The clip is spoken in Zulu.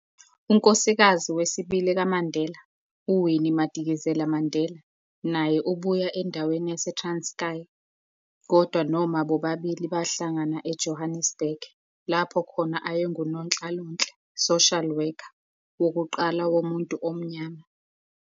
Unkosikazi wesibili kaMandela, uWinnie Madikizela-Mandela, naye ubuya endaweni yase-Transkei, kodwa noma bobabili bahlangana eJohannesburg, lapho khona ayengunonhlalonhle, social worker, wokuqala womuntu omnyamar.